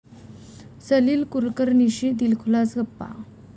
सलील कुलकर्णीशी दिलखुलास गप्पा